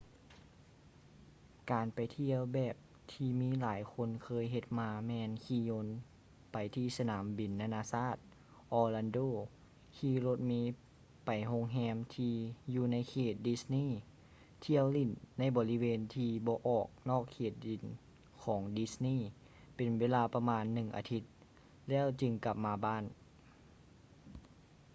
ການໄປທ່ຽວແບບທີ່ຫຼາຍຄົນເຄີຍເຮັດມາແມ່ນຂີ່ຍົນໄປທີ່ສະໜາມບິນນາໆຊາດ orlando ຂີ່ລົດເມໄປໂຮງແຮມທີ່ຢູ່ໃນເຂດ disney ທ່ຽວຫຼິ້ນໃນບໍລິເວນທີ່ບໍ່ອອກນອກເຂດດິນຂອງdisney ເປັນເວລາປະມານໜຶ່ງອາທິດ ແລ້ວຈຶ່ງກັບມາບ້ານ